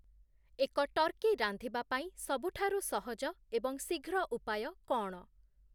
ଏକ ଟର୍କୀ ରାନ୍ଧିବା ପାଇଁ ସବୁଠାରୁ ସହଜ ଏବଂ ଶୀଘ୍ର ଉପାୟ କ’ଣ?